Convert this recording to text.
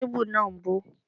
Kébù náà ń bó.